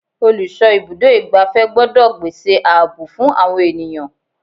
Olùsọ ibùdó igbàfẹ́ gbọ́dọ̀ gbèsè ààbò fún àwọn ènìyàn.